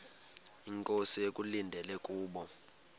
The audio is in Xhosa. inkosi ekulindele kubo